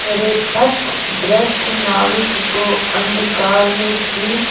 मेरे पथभ्रष्ट नाविक को अंधकार में ठीक